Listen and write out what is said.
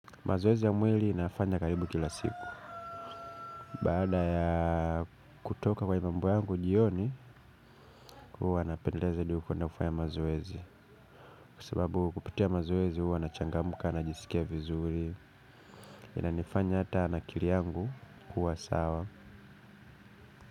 Mazoezi ya mwili nafanya karibu kila siku. Baada ya kutoka kwa hii mambo yangu jioni. Huwa napendeleza hadi kuenda kufanya mazoezi. Kwa sababu kupitia mazoezi huwa nachangamka, najisikia vizuri. Inanifanya hata na akili yangu kuwa sawa.